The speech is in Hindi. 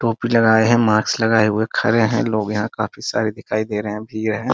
टोपी लगाए है मास्क लगाए हुए खड़े है लोग यहां काफी सारे दिखाई दे रहे है भीड़ है।